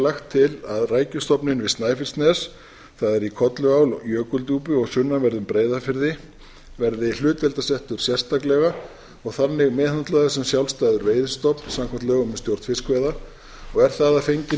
lagt til að rækjustofninn við snæfellsnes það er í kolluál og jökuldjúpi og sunnanverðum breiðafirði verði hlutdeildarsettur sérstaklega og þannig meðhöndlaður sem sjálfstæður veiðistofn samkvæmt lögum um stjórn fiskveiða og er það að fenginni